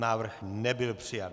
Návrh nebyl přijat.